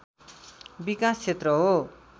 विकास क्षेत्र हो